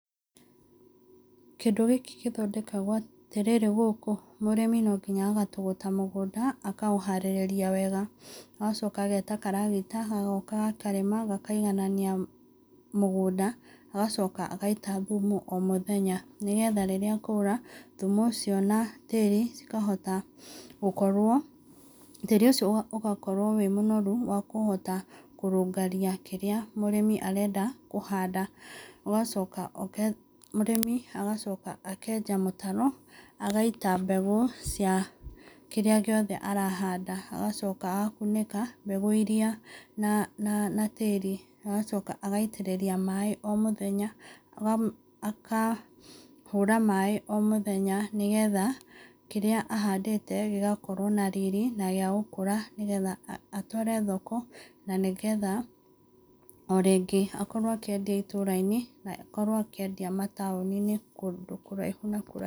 Kĩndũ gĩkĩ gĩthondekagwo atĩrĩrĩ gũkũ, mũrĩmi no nginya agatũgũta mũgũnda akaũharĩrĩria wega, agacoka ageta karagita gagoka gakarĩma, gakaiganania mũgũnda, agacoka agaita thumu o mũthenya, nĩgetha rĩrĩa kwaura thumũ ũcio na tĩrĩ cikahota gũkorwo, tĩri ũcio ũgakorwo wĩ mũnoru wa kũhota kũrũngaria kĩrĩa mũrĩmi arenda kũhanda. Mũrĩmi agacoka akenja mũtaro, agaita mbegũ cia kĩrĩa gĩothe arahanda, agacoka agakunĩka mbegũ iria na tĩri, agacoka agitĩrĩria maĩ o mũthenya, akahũra maĩ o mũthenya, nĩgetha kĩrĩa ahandĩte gĩgakorwo na riri na gĩa gũkũra, nĩgetha atware thoko na nĩgetha o rĩngĩ akorwo akĩendia itũra-inĩ na akorwo akĩendia mataũni-inĩ kũndũ kũraihu na kũraihu.